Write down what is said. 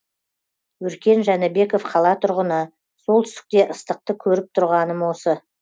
өркен жәнібеков қала тұрғыны солтүстікте ыстықты көріп тұрғаным осы